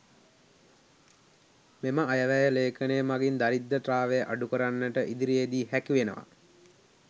මෙම අයවැය ‍ලේඛනය මගින් දරිද්‍රතාවය අඩුකරන්නට ඉදිරියේ දී හැකිවෙනවා.